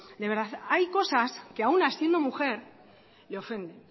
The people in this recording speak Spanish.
de verdad hay cosas que a una siendo mujer le ofende